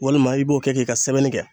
Walima i b'o kɛ k'i ka sɛbɛnni kɛ.